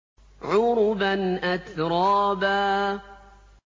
عُرُبًا أَتْرَابًا